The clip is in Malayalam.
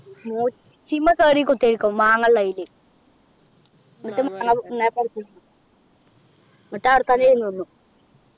കേറി കുത്തിയിരിക്കും മാങ്ങാ ഉള്ളയ്യില് എന്നിട്ട് മാങ്ങ പറിക്കും എന്നിട്ട് ആടത്തന്നെ ഇരുന്നു തിന്നും